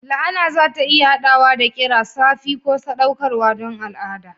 La'ana za ta iya haɗawa da ƙira, safi ko saɗaukarwa don al'ada.